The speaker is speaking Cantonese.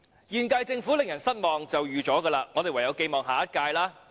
現屆政府令人失望，是預料中事，我們唯有寄望下一屆。